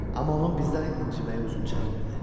Amma onun bizdən inciməyi uzun çəkmirdi.